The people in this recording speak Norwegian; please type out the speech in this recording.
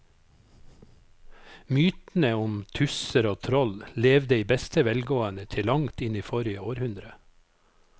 Mytene om tusser og troll levde i beste velgående til langt inn i forrige århundre.